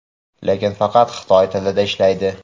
lekin faqat xitoy tilida ishlaydi.